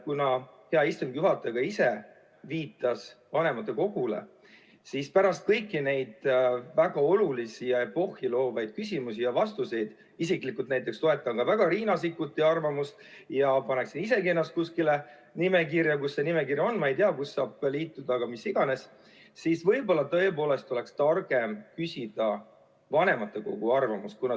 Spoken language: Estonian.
Kuna hea istungi juhataja ka ise viitas vanematekogule, siis pärast kõiki neid väga olulisi ja epohhiloovaid küsimusi ja vastuseid – isiklikult näiteks toetan väga Riina Sikkuti arvamust ja paneksin isegi ennast kuskile nimekirja, kus saab liituda, ehkki ma ei tea, kus see nimekiri on, aga mis iganes –, siis võib-olla tõepoolest oleks targem küsida vanematekogu arvamust.